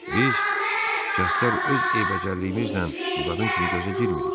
Biz şikəstlər öz eybəcərliyimizlə bu qadın kimi gözə girmirik.